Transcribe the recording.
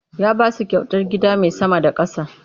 Ya ba su kyautar gida mai sama da ƙasa.